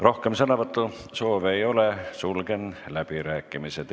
Rohkem sõnavõtusoove ei ole, sulgen läbirääkimised.